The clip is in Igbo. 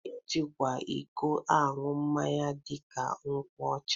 E jikwa iko ańụ mmanya dịka nkwụ ọcha